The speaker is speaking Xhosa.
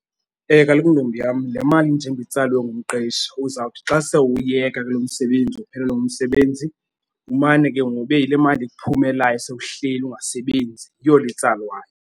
Kaloku ntombi yam le mali njengoba itsalwe ngumqeshi uzawuthi xa se uwuyeka ke lo msebenzi, uphelelwe ngumsebenzi, umane ke ngoku ibe yile mali ikuphumelayo sowuhleli ungasebenzi. Yiyo le itsalwayo.